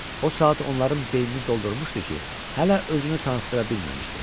O saat onların beynini doldurmuşdu ki, hələ özünü tanıtıra bilməmişdi.